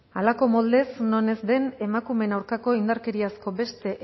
halako moldez non ez de emakumeen aurkako indarkeriazko beste